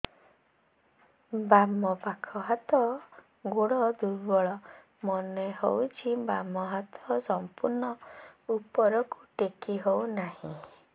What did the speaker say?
ବାମ ପାଖ ହାତ ଗୋଡ ଦୁର୍ବଳ ମନେ ହଉଛି ବାମ ହାତ ସମ୍ପୂର୍ଣ ଉପରକୁ ଟେକି ହଉ ନାହିଁ